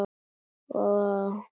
Og geyma hana svo.